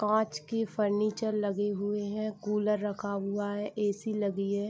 कांच के फर्नीचर लगे हुऐ हैं कूलर रखा हुआ है ऐ.सी. लगी है।